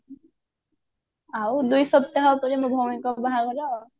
ଆଉ ଦୁଇ ସପ୍ତାହ ପରେ ମୋ ଭଉଣୀଙ୍କ ବାହାଘର ଆଉ